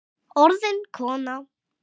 Orðin kona.